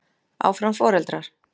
Áfram foreldrar.